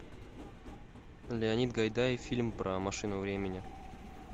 леонид гайдай фильм про машину времени